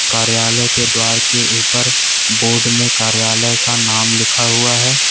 कार्यालय के द्वारा के ऊपर बोर्ड में कार्यालय का नाम लिखा हुआ है।